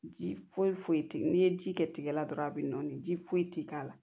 Ji foyi foyi tɛ n'i ye ji kɛ tigɛ la dɔrɔn a bɛ nɔɔni ji foyi tɛ k'a la